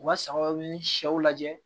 U ka sagaw ni sɛw lajɛ